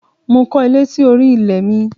Mo kọ́ ilé sí orí ilẹ̀ mi.